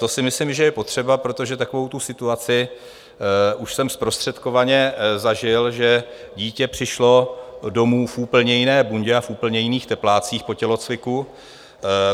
To si myslím, že je potřeba, protože takovou tu situaci už jsem zprostředkovaně zažil, že dítě přišlo domů v úplně jiné bundě a v úplně jiných teplácích po tělocviku.